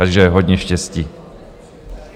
Takže hodně štěstí.